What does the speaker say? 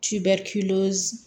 Ti bɛrɛ